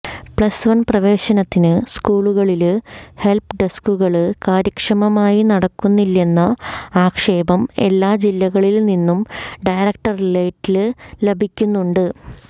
plus one പ്രവേശനത്തിന് സ്കൂളുകളില് help ഡെസ്കുകള് കാര്യക്ഷമമായി നടക്കുന്നില്ലെന്ന ആക്ഷേപം എല്ലാ ജില്ലകളില് നിന്നും ഡയറക്ടറേറ്റില് ലഭിക്കുന്നുണ്ട്